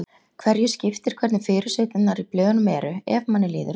Hverju skiptir hvernig fyrirsæturnar í blöðunum eru, ef manni líður vel?